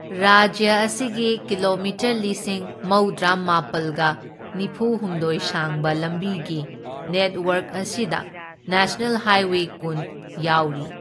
ꯔꯥꯖ꯭ꯌ ꯑꯁꯤꯒꯤ ꯀꯤꯂꯣꯃꯤꯇꯔ ꯂꯤꯁꯤꯡ ꯃꯧꯗ꯭ꯔꯥ ꯃꯥꯄꯜꯒ ꯅꯤꯐꯨꯍꯨꯝꯗꯣꯢ ꯁꯥꯡꯕ ꯂꯝꯕꯤꯒꯤ ꯅꯦꯇꯋꯥꯔꯛ ꯑꯁꯤꯗ ꯅꯦꯁꯅꯦꯜ ꯍꯥꯏꯋꯦ ꯀꯨꯟ ꯌꯥꯎꯔꯤ꯫